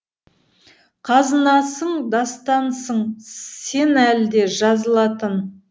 қазынасың дастансың сен әлі де жазылатын